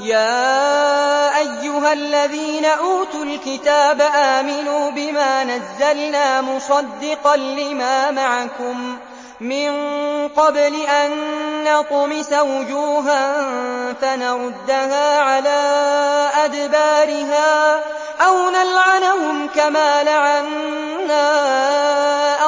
يَا أَيُّهَا الَّذِينَ أُوتُوا الْكِتَابَ آمِنُوا بِمَا نَزَّلْنَا مُصَدِّقًا لِّمَا مَعَكُم مِّن قَبْلِ أَن نَّطْمِسَ وُجُوهًا فَنَرُدَّهَا عَلَىٰ أَدْبَارِهَا أَوْ نَلْعَنَهُمْ كَمَا لَعَنَّا